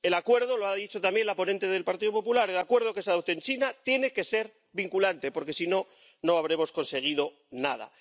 El acuerdo —lo ha dicho también la ponente del Partido Popular— que se adopte en China tiene que ser vinculante, porque, si no, no habremos conseguido nada.